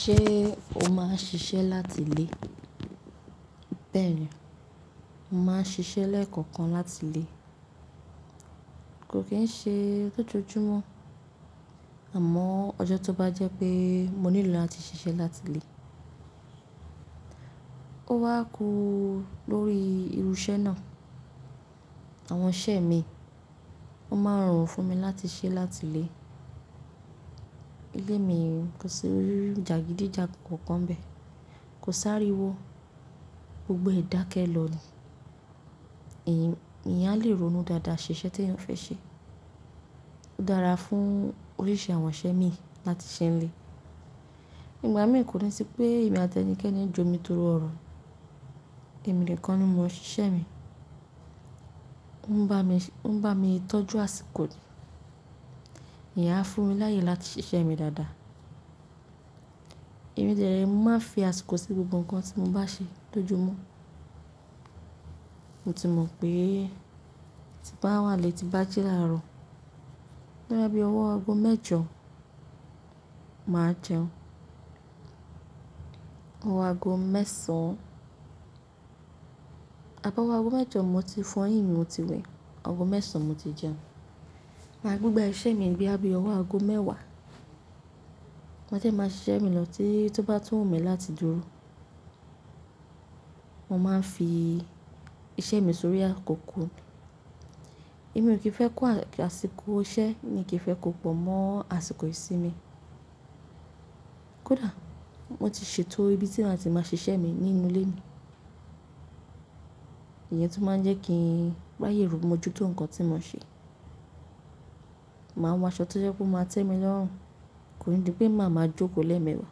Ṣé o máa ń ṣiṣẹ́ láti ilé? Bẹ́ẹ̀ ni, mo máa ń ṣiṣẹ́ lẹ́ẹ̀kọ̀kan láti ilé. Kò kí ń ṣe ló jọjú mọ́, àmọ́ ọjọ́ tó bá jẹ́ pé mo nílò láti ṣiṣẹ́ láti ilé, ó wá kú lórí irú iṣẹ́ náà. Àwọn iṣẹ mi, wón máa ń rorùn fún mi láti ṣẹ́ láti ilé. Ilé mi kò sí ohun ìjagidíjagan kankan bẹ́ẹ̀, kò si ariwó, gbogbo ẹ̀ dákẹ́ lọ ni. Eeyán a lè ronú dáadáa ṣè iṣe tí ẹ́eyan fẹ́ ṣe. Ó dára fún oríṣi àwọn isẹ mi láti ṣẹ́ ní ilé. Ìgbà mí kò ní sí pé emiì áti ẹnikẹ́ni jó mi tòrò ọ̀rọ̀. Ẹ̀mí nìkan ni mọ ṣiṣẹ́ mi. Ó ń bá mi tọ́jú àsìkò. Ìyen a fún mi láyè láti ṣiṣẹ́ mi dáadáa. Ẹ̀mí dẹ̀ẹ̀ re máa ń fi àsìkò sí gbogbo nǹkan tí mo bá ṣe lójoojúmọ́. Mo ti mọ̀ pé tí bá wà n lé ti n bá jíla rọ̀, boya bí ọwọ́ aago mẹ́jọ, màá jẹun. Ọwọ́ aago mẹ́sàn-án, àbi ọwọ́ aago mẹ́jọ mo ti fọ́yín mi mo ti wẹ̀, ọwọ́ aago mẹ́sàn-án mo ti jẹun. Máa gbegbá iṣẹ́ mi boya bí ọwọ́ aago mẹ́wàá. Wọ́n dẹ́ máa ṣiṣẹ́ mi lọ tí tó bá tún wuǹ mi láti dúró. Mo máa ń fi iṣẹ́ mi sórí àkókò. Ẹ̀mí ò kí ń fẹ́ kó àsìkò iṣẹ́ mí kí fẹ́ kó pọ̀ mọ́ àsìkò ìsinmi. Kódà mo ti ṣètò ibi tí màá ti máa ṣiṣẹ́ mi nínú ilé mi. Ìyẹn tún máa ń jẹ́ kí ráye irun mo jó tó ǹkan tí mo ṣe. Màá ń wọ aṣọ tó jẹ́ pe ó máa tẹ́mi lọ́rùn. Kò ní di pé màá máa jókòó lẹ́ẹ̀mẹ́wàá.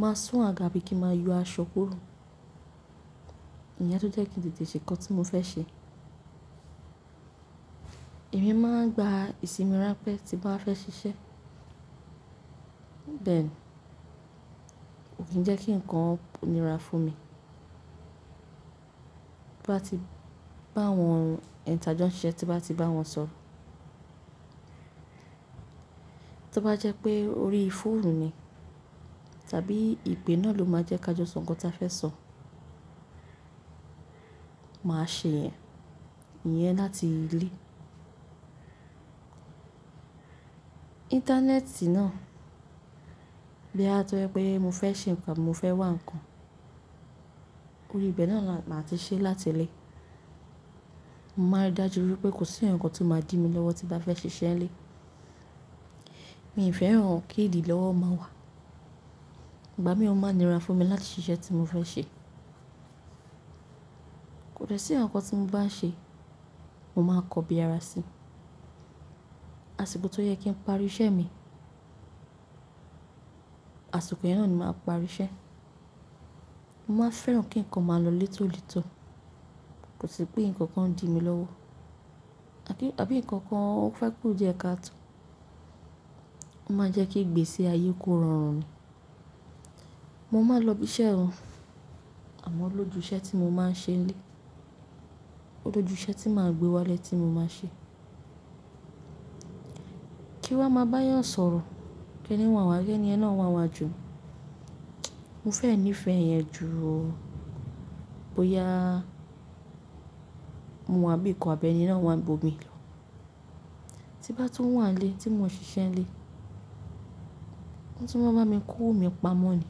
Màá sún àga bí kí máa yọ aṣọ kúrò. Ìyẹn ló jẹ́ kí n tètè ṣe ǹkan tí mo fẹ́ ṣe. Ẹ̀mí máa ń gba ìsinmi ránpẹ́ tí bàá fẹ́ ṣiṣẹ́. Bẹ́ẹ̀ ni, ò kí ń jẹ́ kí ǹkan ó nira fún mi. Bí wọ́n bá ti bá awọn rùn, ẹ n ta jọ́ ń ṣiṣẹ́ tí bá ti bá wọn sọ̀rọ̀. Tí ó bá jẹ́ pé orí fóòmù ni tàbí ìpè náà ló máa jẹ́ ká jọ sọ ǹkan tí a fẹ́ sọ̀, màá ṣe ìyẹn, ìyẹn láti ilé. Íńtánẹ́ẹ̀tì náà boya tó jẹ́ pé mo fẹ́ ṣe ǹkan mo fẹ́ wá ǹkan, orí ibi náà la máa ti ṣe é láti ilé. Mo máa rí dájú wípé kò sí ǹkan tó máa dí mi lọ́wọ́ tí bá fẹ́ ṣiṣẹ́ ní ilé. Mi ò fẹ́ran kí ìdí lọ́wọ́ máa wà. Ìgbà mí ó máa nira fún mi láti ṣiṣẹ́ tí mo fẹ́ ṣe. Kò dẹ́ sí ǹkan tí mo bá ṣe, mo máa n kọbi ara si. Àsìkò tó yẹ kí ń pari iṣẹ́ mi, àsìkò yẹn ni màá parí iṣẹ́. Mo máa n fẹ́ran kí ǹkan máa lọ létólètó. Kò sì pé ǹkan kan ń di mi lọ́wọ́. Àbí ǹkan kan fẹ́ kú jẹ́ ká to. Ó máa ń jẹ́ kí ìgbésí ayé kó rọrùn ni. Mo máa lọ ibi iṣẹ́ ho, àmọ́ ó lójú iṣẹ́ tí mo máa ń ṣe ní ilé. Ó lójú iṣẹ́ tí màá gbé wálé tí mo máa ṣe. Kí wa máa bá yàn sọ̀rọ̀, kẹ́ni wọ́n wà gẹ́ ni yẹn náà wan wà jù. Mo fẹ́ nífẹ̀ẹ́ ìyẹn ju bóyá mo wàn bí i nkan àbí ẹni náà wà nbo i mi lọ. Tí bá tún wà nílé tí mò ń ṣiṣẹ́ nílé, wọ́n tun wọ́n máa ń bami kowo mi pamọ́ ni.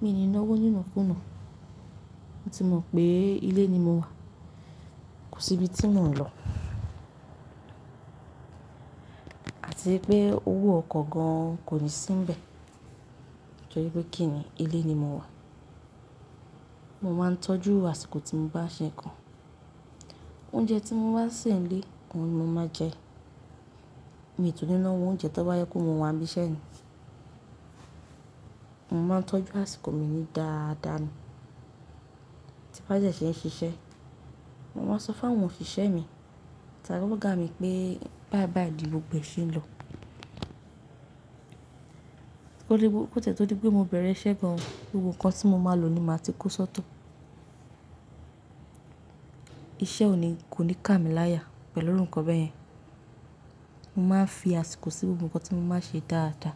Mi ò ní nọ́wọ́ níno kùnà. Wọ́n ti mọ̀ pé ilé ni mo wà. Kò sí ibi tí mò ń lọ. Àti wipé owó oko gan kò ní sí n bẹ̀. Tọ́rí pé kí ni, ilé ni mo wà. Mo máa ń tọ́jú àsìkò tí mo bá ṣe ǹkan. Oúnjẹ tí mo bá sè nílé, òun ni mo máa jẹ. Èmi tuni nọ́wọ́ oúnjẹ tó bá jẹ kó mo wà ní ibi iṣẹ́ ni. Mo máa ń tọ́jú àsìkò mi ní dáadáa ni. Tí bá jẹ́ ṣé ń ṣiṣẹ́, mo máa ń sọ fún àwọn òṣìṣẹ́ mi tàbí ọgá mi pé báìbàì ní gbogboe ṣe é n lọ. Kò tiẹ́ tọ́ dípé mo bẹ̀rẹ̀ iṣẹ́ gan-an, gbogbo ǹkan tí mo máa lò ni màá ti kó sọ́tọ̀. Iṣẹ́ ò ní kà mí láyà pẹ̀lú iru ǹkan bẹ́yẹn. Mo máa ń fi àsìkò sí gbogbo ǹkan tí mo maá n ṣe dáadáa.